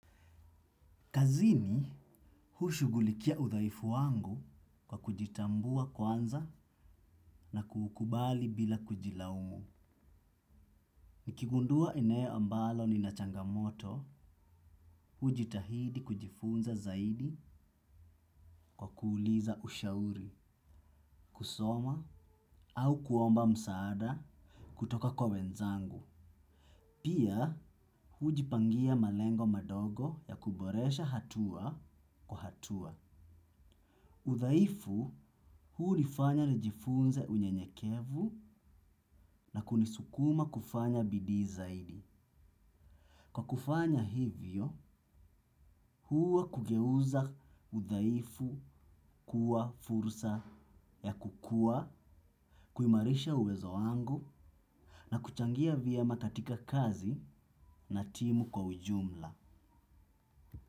Kazini, hushugulikia udhaifu wangu kwa kujitambua kwanza na kukubali bila kujilaumu. Nikigundua eneo ambalo nina changamoto, hujitahidi kujifunza zaidi kwa kuuliza ushauri, kusoma au kuomba msaada kutoka kwa wenzangu. Pia huu jipangia malengo madogo ya kuboresha hatua kwa hatua. Udhaifu, huu hunifanya nijifunze unyenyekevu, na kunisukuma kufanya bidii zaidi. Kwa kufanya hivyo huwa kugeuza udhaifu kuwa fursa ya kukua, kuimarisha uwezo wangu, na kuchangia vyema katika kazi na timu kwa ujumla.